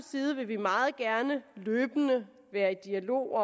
side vil vi meget gerne løbende være i dialog